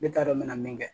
Ne t'a dɔn me na min kɛ